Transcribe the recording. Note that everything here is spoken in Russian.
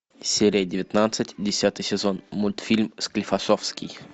серия девятнадцать десятый сезон мультфильм склифосовский